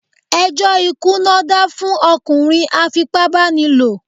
Ẹjọ́ ikú ná dá fún ọkùnrin a fipá bá ni lò.